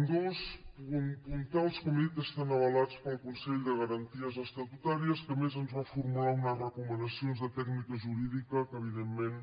ambdós puntals com he dit estan avalats pel consell de garanties estatutàries que a més ens va formular unes recomanacions de tècnica jurídica que evidentment